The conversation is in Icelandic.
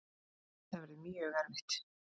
Þetta verður mjög erfitt.